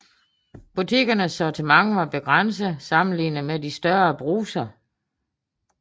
Butikkernes sortiment var begrænset sammenlignet med de større brugser